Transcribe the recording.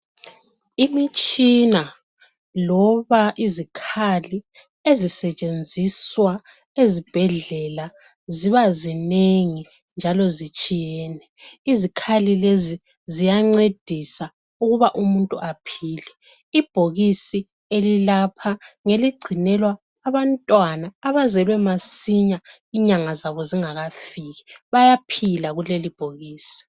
Imitshina loba izikhali ezisetshenziswa ezibhedlela ziba zinengi njalo zitshiyene. Izikhali lezi ziyancedisa ukuba umuntu aphile. Ibhokisi elilapha ngeligcinelwa abantwana abazelwe masinya inyanga zabo zingakafiki. Bayaphila kulelibhokisi.